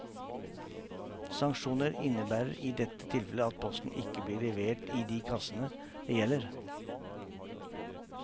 Sanksjoner innebærer i dette tilfellet at posten ikke blir levert i de kassene det gjelder.